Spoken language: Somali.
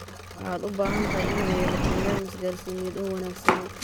Waxaad u baahan tahay inaad yeelato nidaam isgaarsiineed oo wanaagsan.